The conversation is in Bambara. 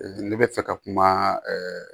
ne bɛ fɛ ka kuma ɛɛ